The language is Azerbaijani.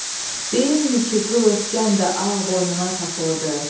Deyimmi ki, qıl örtgən də ağ boynuna taxılıdır?